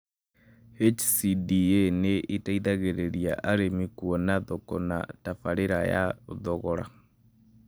HCDA nĩ ĩteithagia arĩmi kũona thoko na tabarira ya thogora